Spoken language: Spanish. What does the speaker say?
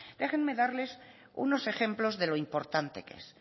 déjenme darles unos ejemplos de lo importante que es